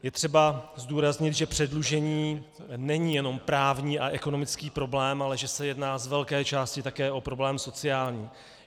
Je třeba zdůraznit, že předlužení není jenom právní a ekonomický problém, ale že se jedná z velké části také o problém sociální.